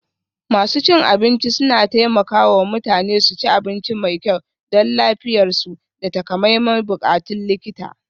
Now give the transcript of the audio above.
Masu cin abinci suna taimaka wa mutane su ci abinci mai kyau don lafiyarsu da takamaiman buƙatun likita.